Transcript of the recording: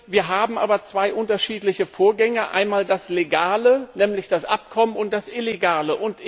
Wir haben aber zwei unterschiedliche Vorgänge einmal das Legale, nämlich das Abkommen, und das Illegale.